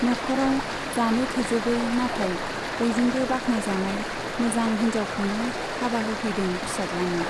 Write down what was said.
नख'राव जानो थोजोबै नाथाय बयजोंबो बाख्नाय जानाय मोजां हिन्जावखौनो हाबा होफैदों फिसाज्लानो।